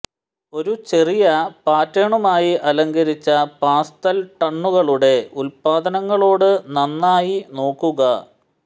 ഒരു ചെറിയ പാറ്റേണുമായി അലങ്കരിച്ച പാസ്തൽ ടണുകളുടെ ഉൽപ്പന്നങ്ങളോട് നന്നായി നോക്കുക